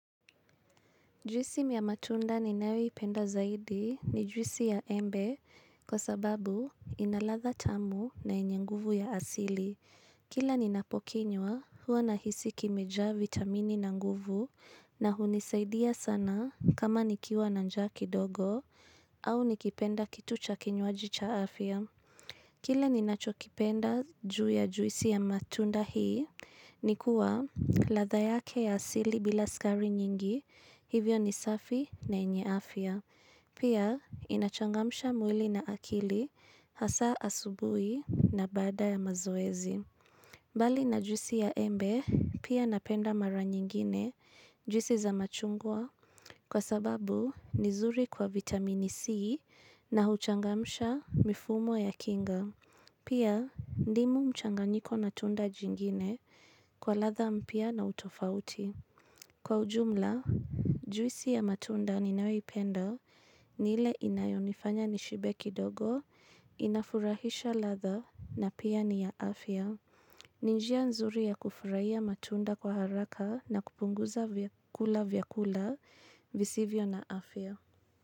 Juisi miya matunda ninayoi ipenda zaidi ni juisi ya embe kwa sababu inaladha tamu na yenyenguvu ya asili. Kila ninapokinywa huwa na hisiki mejaa vitamini na nguvu na hunisaidia sana kama nikiwa nanjaa ki dogo au nikipenda kitu cha kinywaji cha afya. Kile ninachokipenda juu ya juisi ya matunda hii, nikuwa ladha yake ya asili bila skari nyingi, hivyo ni safi na yenye afya. Pia, inachangamsha mwili na akili, hasa asubui na baada ya mazoezi. Bali na juisi ya embe, pia napenda mara nyingine juisi za machungwa, kwa sababu nizuri kwa vitamini C na huchangamsha mifumo ya kinga. Pia, ndimu mchanganyiko na tunda jingine kwa ladha mpya na utofauti. Kwa ujumla, juisi ya matunda ni nayoipenda ni ile inayonifanya nishibe kidogo, inafurahisha ladha na pia ni ya afya. Ninjia nzuri ya kufurahia matunda kwa haraka na kupunguza kula vyakula visivyo na afya.